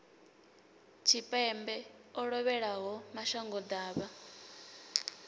tshipembe o lovhelaho mashango ḓavha